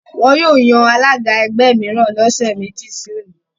Wọ́n yóò yan alága ẹgbẹ́ mìíràn lọ́sẹ̀ méjì sí òní